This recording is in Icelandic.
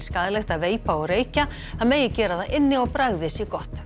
skaðlegt að veipa og reykja það megi gera það inni og bragðið sé gott